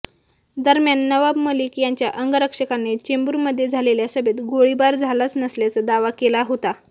दरम्यान नवाब मलिक यांच्या अंगरक्षकाने चेंबुरमध्ये झालेल्या सभेत गोळीबार झालाच नसल्याचा दावा केला होता